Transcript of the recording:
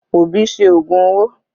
Obi ṣe ògùn owó.